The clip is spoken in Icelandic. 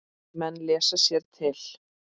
Menn lesa sér til.